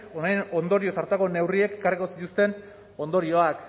honen ondorioz hartutako neurriek ekarriko zituzten ondorioak